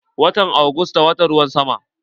Watan augusta watan ruwan sama ne.